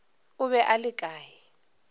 o be a le kae